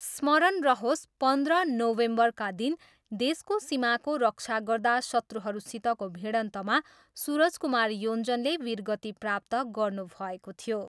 स्मरण रहोस्, पन्ध्र नोभेम्बरका दिन देशको सीमाको रक्षा गर्दा शत्रुहरूसितको भिडन्तमा सूरज कुमार योञ्जनले वीरगति प्राप्त गर्नुभएको थियो।